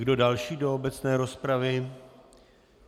Kdo další do obecné rozpravy?